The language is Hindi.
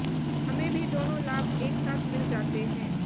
हमें भी दोनों लाभ एक साथ मिल जाते हैं